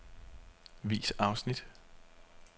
Vis afsnit.